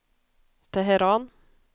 Teheran